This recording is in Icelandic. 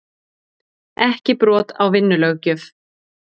Ekki brot á vinnulöggjöf